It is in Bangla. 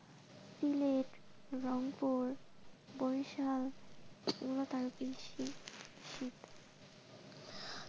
চিলেট, রংপুর, বরিশারএগুলো আরও বেশি শীত.